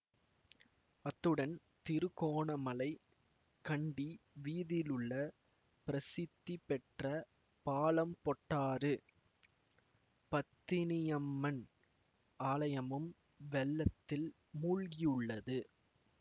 அத்துடன் திருகோணமலை கண்டி வீதியிலுள்ள பிரசித்தி பெற்ற பாலம்பொட்டாறு பத்தினியம்மன் ஆலயமும் வெள்ளத்தில் மூழ்கியுள்ளது